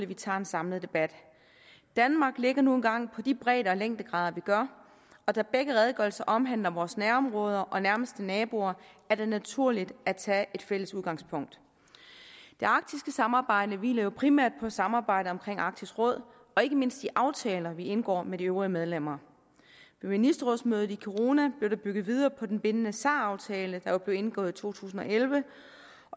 vi tager en samlet debat danmark ligger nu engang på de bredde og længdegrader vi gør og da begge redegørelser omhandler vores nærområder og nærmeste naboer er det naturligt at tage et fælles udgangspunkt det arktiske samarbejde hviler jo primært på samarbejdet omkring arktisk råd og ikke mindst de aftaler vi indgår med de øvrige medlemmer ved ministerrådsmødet i kiruna blev der bygget videre på den bindende sar aftale der jo blev indgået i to tusind og elleve